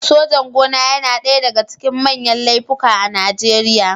Sojan-gona yana ɗaya daga cikin manyan laifuka a Najeriya.